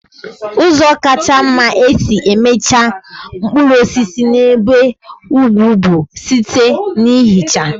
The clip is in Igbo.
Ụzọ kacha mma e si echekwa mkpụrụ osisi n'ebe ugwu bụ site na ihicha.